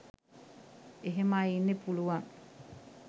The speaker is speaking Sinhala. එහෙම අය ඉන්න පුළුවන්